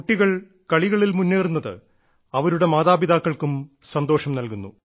കുട്ടികൾ കളികളിൽ മുന്നേറുന്നത് അവരുടെ മാതാപിതാക്കൾക്കും സന്തോഷം നൽകുന്നു